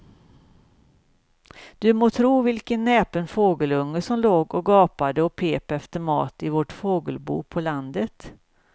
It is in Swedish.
Du må tro vilken näpen fågelunge som låg och gapade och pep efter mat i vårt fågelbo på landet.